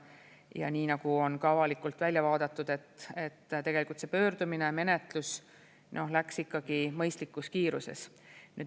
Ja nii nagu on ka avalikult välja vaadatud, tegelikult see pöördumine ja menetlus läks ikkagi mõistlikus kiiruses.